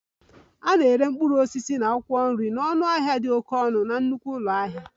A na-ere mkpụrụ osisi na akwụkwọ nri na ọnụahịa dị oke ọnụ na nnukwu ụlọ ahịa